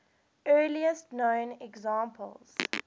earliest known examples